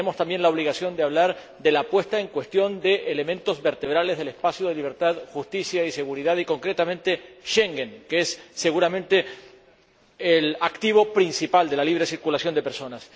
Tenemos también la obligación de hablar del cuestionamiento de elementos vertebrales del espacio de libertad, justicia y seguridad y, concretamente, de Schengen, que es, seguramente, el activo principal de la libre circulación de personas.